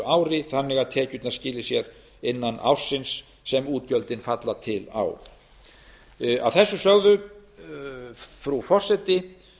ári þannig að tekjurnar skili sér innan ársins sem útgjöldin falla til á að þessu sögðu frú forseti